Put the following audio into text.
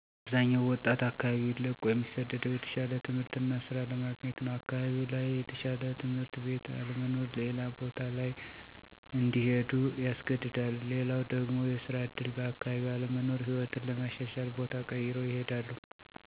አብዛኛው ወጣት አካባቢውን ለቆ እሚሰደደው የተሻለ ትምህርት እና ሥራ ለማግኘት ነው። አካባቢው ላይ የተሻለ ትምህርት ቤት አለመኖር ሌላ ቦታ ላይ እንዲሄዱ ያስገድዳል። ሌላው ደግሞ የስራ ዕድል በአካባቢው አለመኖር ሕይወትን ለማሻሻል ቦታ ቀይረው ይሄዳሉ። ስለሆነም በአካባቢው ትምህርት ቤት እና ኢንዱስትሪ በመክፈት ወጣቱን ተጠቃሚ ማድረግ ይቻላል። የአግሪ-ቴክ ማሰልጠኛ ማዕከላት መኖርም ወጣቱን ከስደት ይከላከላል ብዬ አስባለሁ።